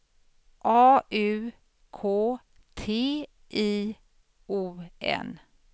A U K T I O N